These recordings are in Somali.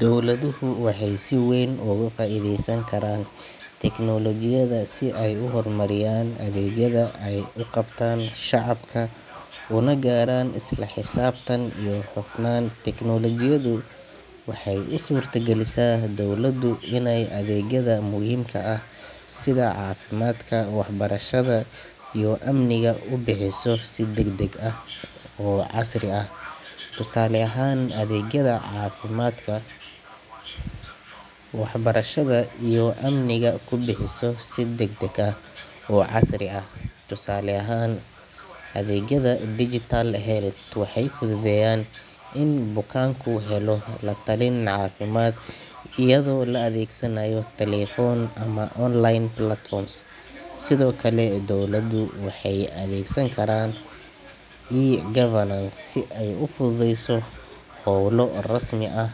Dowladuhu waxay si weyn uga faa’iideysan karaan teknoolojiyadda si ay u horumariyaan adeegyada ay u qabtaan shacabka una gaaraan isla xisaabtan iyo hufnaan. Teknoolojiyaddu waxay u suurta galisaa dowladdu inay adeegyada muhiimka ah sida caafimaadka, waxbarashada iyo amniga ku bixiso si degdeg ah oo casri ah. Tusaale ahaan, adeegyada caafimaadka ee digital health waxay fududeynayaan in bukaanku helo latalin caafimaad iyadoo la adeegsanayo telefoon ama online platforms. Sidoo kale, dowladdu waxay adeegsan kartaa e-governance si ay u fududeyso howlo rasmi ah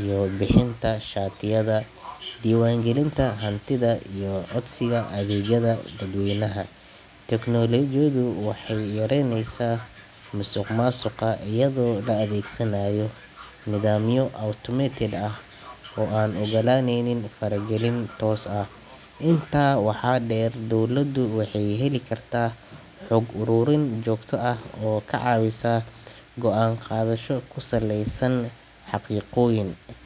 sida bixinta shatiyada, diiwaangelinta hantida iyo codsiga adeegyada dadweynaha. Teknoolojiyaddu waxay yareyneysaa musuqmaasuqa, iyadoo la adeegsanayo nidaamyo automated ah oo aan oggolaanin faragelin toos ah. Intaa waxaa dheer, dowladdu waxay heli kartaa xog ururin joogto ah oo ka caawisa go’aan qaadasho ku saleysan xaqiiqooyin.